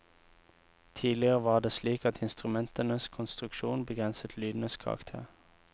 Tidligere var det slik at instrumentenes konstruksjon begrenset lydenes karakter.